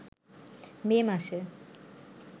মে মাসে